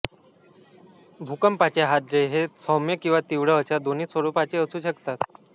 भूकंपाचे हादरे हे सौम्य किंवा तीव्र अशा दोन्ही स्वरूपाचे असू शकतात